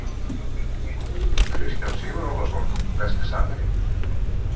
Kristján Sigurólason Besti samherjinn?